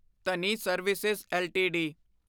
Dhani service LTD